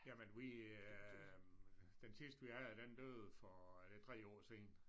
Jamen vi øh den sidste vi havde den døde for er det 3 år siden